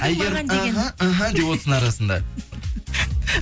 әйгерім іхі іхі деп отырсын арасында